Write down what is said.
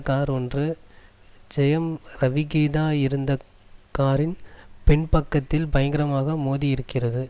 car ஒன்று ஜெயம் ரவி கீதா இருந்த காரின் பின்பக்கத்தில் பயங்கரமாக மோதியிருக்கிறது